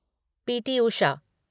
P T. Usha